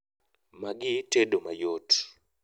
magi tedo mayot